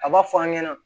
A b'a fɔ an ɲɛna